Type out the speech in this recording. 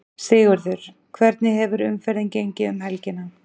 Sigurður, hvernig hefur umferðin gengið um helgina?